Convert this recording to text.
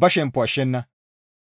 ba shemppo ashshenna.